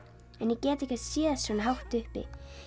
en ég get ekkert séð svona hátt uppi